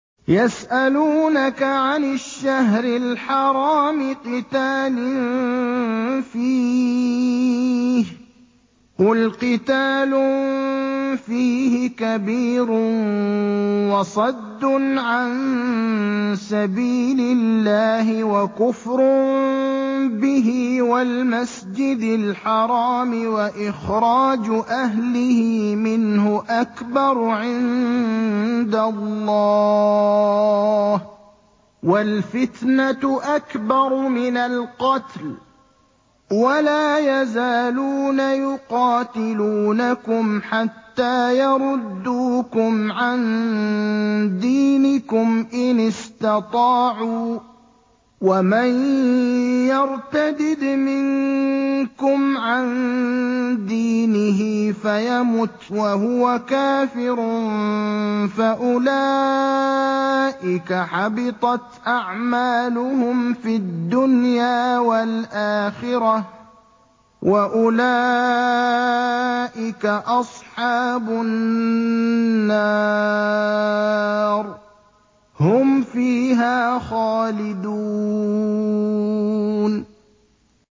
يَسْأَلُونَكَ عَنِ الشَّهْرِ الْحَرَامِ قِتَالٍ فِيهِ ۖ قُلْ قِتَالٌ فِيهِ كَبِيرٌ ۖ وَصَدٌّ عَن سَبِيلِ اللَّهِ وَكُفْرٌ بِهِ وَالْمَسْجِدِ الْحَرَامِ وَإِخْرَاجُ أَهْلِهِ مِنْهُ أَكْبَرُ عِندَ اللَّهِ ۚ وَالْفِتْنَةُ أَكْبَرُ مِنَ الْقَتْلِ ۗ وَلَا يَزَالُونَ يُقَاتِلُونَكُمْ حَتَّىٰ يَرُدُّوكُمْ عَن دِينِكُمْ إِنِ اسْتَطَاعُوا ۚ وَمَن يَرْتَدِدْ مِنكُمْ عَن دِينِهِ فَيَمُتْ وَهُوَ كَافِرٌ فَأُولَٰئِكَ حَبِطَتْ أَعْمَالُهُمْ فِي الدُّنْيَا وَالْآخِرَةِ ۖ وَأُولَٰئِكَ أَصْحَابُ النَّارِ ۖ هُمْ فِيهَا خَالِدُونَ